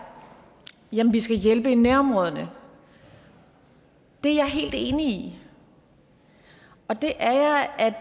jamen vi skal hjælpe i nærområderne det er jeg helt enig i og det er jeg af